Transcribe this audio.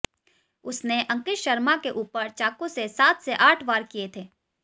उसने अंकित शर्मा के ऊपर चाकू से सात से आठ वार किए थे